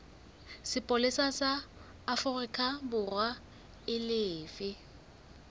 sepolesa sa aforikaborwa e lefe